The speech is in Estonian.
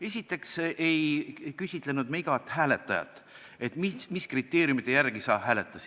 Esiteks ei küsinud me igalt hääletajalt, mis kriteeriumite järgi ta hääletas.